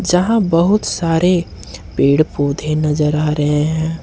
जहां बहुत सारे पेड़ पौधे नजर आ रहे हैं।